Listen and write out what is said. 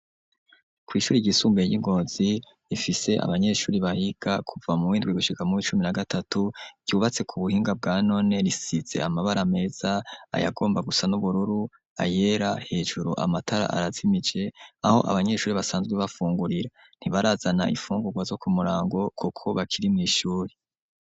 Kw'ishure ryisumbuye ry'i Ngozi, rifise abanyeshure bahiga kuva mu muw'indwi gushika muw'icumi na gatatu, ryubatse k'ubuhinga bwa none, risize amabara meza, ayagomba gusa n'ubururu, ayera, hejuru amatara arazimije aho abanyeshure basanzwe bafungurira, ntibarazana imfungurwa zo kumurango kuko bakiri mw'ishure.